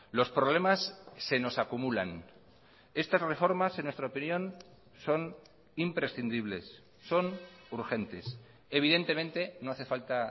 los problemas se nos acumulan estas reformas en nuestra opinión son imprescindibles son urgentes evidentemente no hace falta